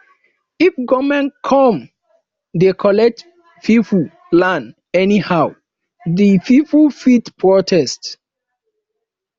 if government come dey collect pipo land anyhow de pipo fit protest